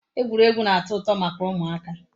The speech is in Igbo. Egwuregwu na-ato uto maka umuaka